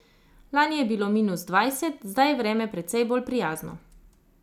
Lani je bilo minus dvajset, zdaj je vreme precej bolj prijazno.